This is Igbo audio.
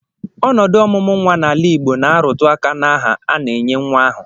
Ọnọdụ ọmụmụ nnwa n'ala Igbo na-arụtụ aka n'aha a na-enye nnwa ahụ